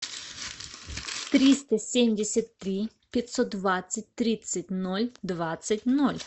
триста семьдесят три пятьсот двадцать тридцать ноль двадцать ноль